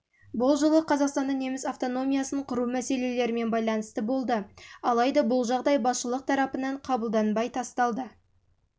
бұл жылы қазақстанда неміс автономиясын құру мәселелерімен байланысты болды алайда бұл жағдай басшылығы тарапынан қабылданбай тасталды